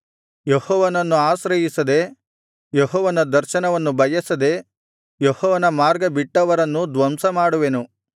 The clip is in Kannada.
ಯೆಹೋವನನ್ನು ಆಶ್ರಯಿಸದೆ ಯೆಹೋವನ ದರ್ಶನವನ್ನು ಬಯಸದೇ ಯೆಹೋವನ ಮಾರ್ಗ ಬಿಟ್ಟವರನ್ನೂ ಧ್ವಂಸ ಮಾಡುವೆನು